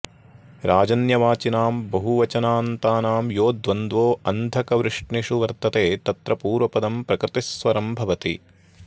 राजन्यवाचिनां बहुवचनान्तानां यो द्वन्द्वो ऽन्धकवृष्णिषु वर्तते तत्र पूर्वपदं प्रकृतिस्वरम् भवति